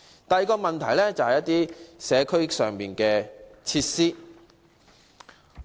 第二個例子有關社區設施。